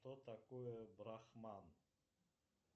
что такое брахман